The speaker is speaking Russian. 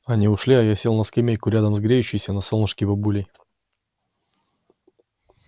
они ушли а я сел на скамейку рядом с греющейся на солнышке бабулей